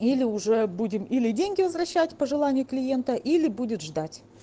или уже будем или деньги возвращать по желанию клиента или будет ждать